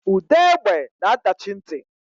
Ude egbe na adachi nti.